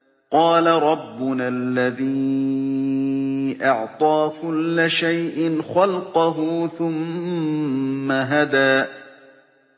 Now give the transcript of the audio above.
قَالَ رَبُّنَا الَّذِي أَعْطَىٰ كُلَّ شَيْءٍ خَلْقَهُ ثُمَّ هَدَىٰ